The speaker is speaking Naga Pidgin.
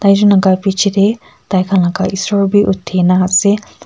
ekjun laga piche de taikhan laga esor b uthi na ase.